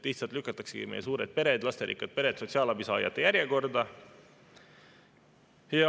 Lihtsalt lükataksegi meie suured lasterikkad pered sotsiaalabisaajate järjekorda.